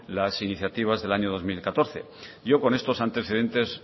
las iniciativas del año dos mil catorce yo con estos antecedentes